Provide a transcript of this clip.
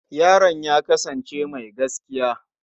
Yaron ya kasance mai gaskiya.